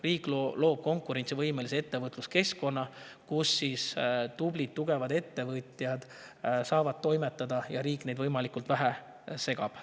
Riik loob konkurentsivõimelise ettevõtluskeskkonna, kus tublid tugevad ettevõtjad saavad toimetada ja riik neid võimalikult vähe segab.